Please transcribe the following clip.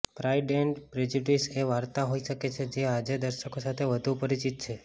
pride and Prejudice એ વાર્તા હોઈ શકે છે જે આજે દર્શકો સૌથી વધુ પરિચિત છે